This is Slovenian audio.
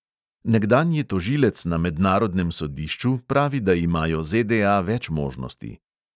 Nekdanji tožilec na mednarodnem sodišču pravi, da imajo ZDA več možnosti.